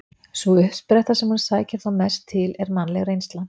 Sú uppspretta sem hún sækir þó mest til er mannleg reynsla.